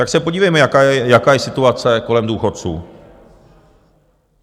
Tak se podívejme, jaká je situace kolem důchodců.